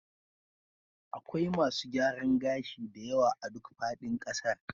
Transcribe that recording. Akwai masu gyaran gashi da yawa a duk faɗin ƙasar